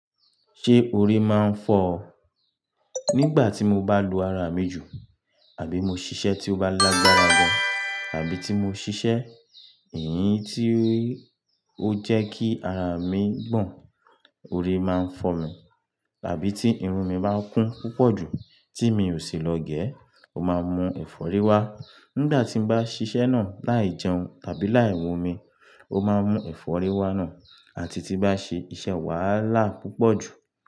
Ṣé orí máa ń fọ ọ? Nígbà tí mo bá lo ara mi jù àbí mo ṣiṣẹ́ tí ó bá lágbára gan àbí tí mo ṣiṣẹ́ èyí tí ó jẹ́ kí ara mi gbọ̀n, orí máa ń fọ mi. Àbí tí irun mi bá kún púpọ̀ jù tí mi ò sì lọ gé e, ó máa ń mú ẹ̀fọ́rí wá. Nígbà tí mo bá ṣiṣẹ́ náà láì jẹun tàbí láì mun omi, ó máa ń mú ẹ̀fọ́rí wá náà àti tí bá ṣe iṣẹ́ wàhálà púpọ̀ jù.